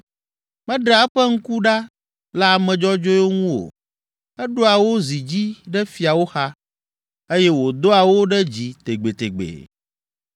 Meɖea eƒe ŋku ɖa le ame dzɔdzɔewo ŋu o, eɖoa wo zi dzi ɖe fiawo xa eye wòdoa wo ɖe dzi tegbetegbe.